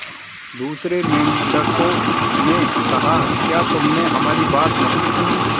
दूसरे मेंढकों ने कहा क्या तुमने हमारी बात नहीं सुनी